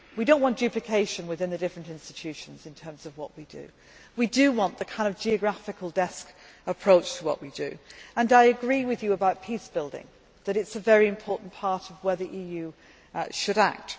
We do not want duplication within the different institutions in terms of what we do. We want the geographical desk approach to what we do, and I agree with you about peace building that it is a very important part of where the EU should act.